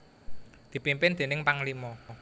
dipimpin déning Panglima